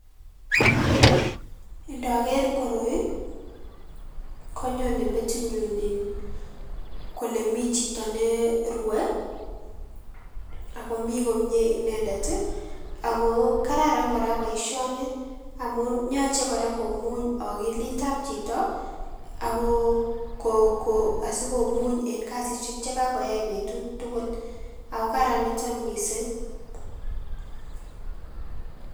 Ndoker koroi, konyone metinyun in kole mi chito ne rue, ak komi komnye inendet ii, ako kararan kora boisioni amun yoche kora komuny akilitab chito, ako um asikomuny en kasisiek che kakoyai betut tugul ako karan niton mising.